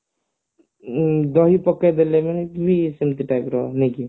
ଦହି ପକେଇଦେଲେ କଣ କି ସେମତି type ର ନୁହେଁ କି